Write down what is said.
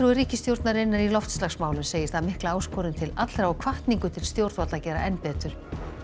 ríkisstjórnarinnar í loftslagsmálum segir það mikla áskorun til allra og hvatningu til stjórnvalda að gera enn betur